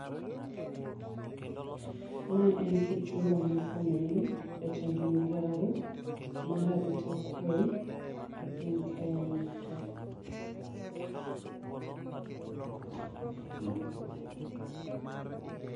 Ma en Kipchumba Murkomen, Jatend migao mar arita kwee e piny Kenya ka.